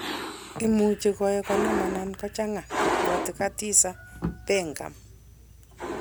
imuch koek konom anan kochang'a, ibwati Khadiza Begum.